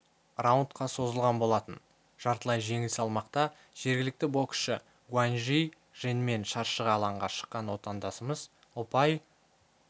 раундқа созылған болатын жартылай жеңіл салмақта жергілікті боксшы гуаньжи женмен шаршы алаңға шыққан отандасымыз ұпай